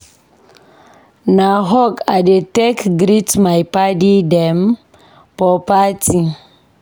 Na hug I dey take greet my paddy dem for party.